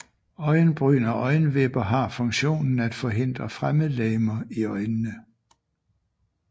Øjenbryn og øjenvipper har funktionen at forhindre fremmedlegemer i øjnene